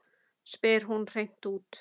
spyr hún hreint út.